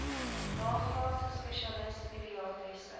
nagraadse spesialis pediatriese